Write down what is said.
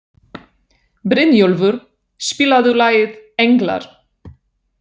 Brynjólfur, spilaðu lagið „Englar“.